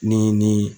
Ni nin